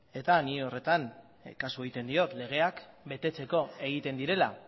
eta nik horretan kasu egiten diot legeak betetzeko egiten direla